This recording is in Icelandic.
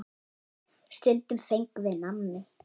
Stundum fengum við nammi.